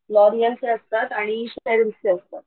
L'Oréal's चे असतात आणि स्पेल चे असतात.